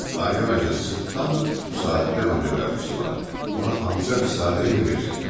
Alyona cadısı tam bu saatda randevu vermişdi mənə, ona antika bir saatı rehin verəcəkdim.